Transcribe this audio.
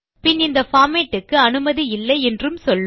பின் இந்த பார்மேட் க்கு அனுமதி இல்லை என்றும் சொல்லும்